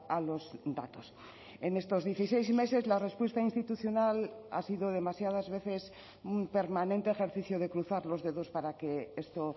a los datos en estos dieciséis meses la respuesta institucional ha sido demasiadas veces un permanente ejercicio de cruzar los dedos para que esto